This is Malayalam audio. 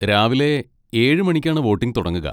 രാവിലെ ഏഴ് മണിക്കാണ് വോട്ടിങ് തുടങ്ങുക.